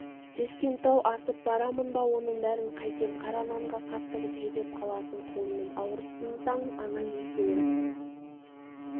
тескентау асып барамын ба оның бәрін қайтем қара нанға қақтығып жүдеп қаласың құлыным ауырсынсаң ана екеуі